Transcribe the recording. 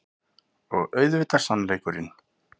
Og auðvitað sannleikurinn.